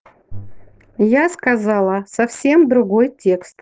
я сказала совсем другой текст